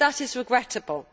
that is regrettable.